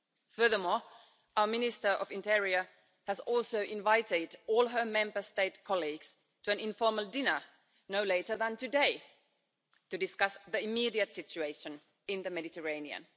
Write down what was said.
Furthermore, our Minister of the Interior has also invited all her Member State colleagues to an informal dinner no later than today to discuss the immediate situation in the Mediterranean.